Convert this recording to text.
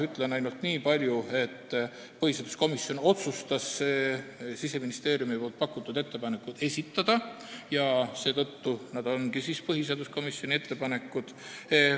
Ütlen ainult niipalju, et põhiseaduskomisjon otsustas Siseministeeriumi pakutud ettepanekud esitada ja seetõttu need ongi põhiseaduskomisjoni ettepanekutena esitatud.